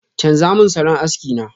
chanza mun salon aski na!